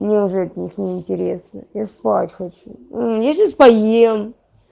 мне уже от них не интересно я спать хочу я сейчас поем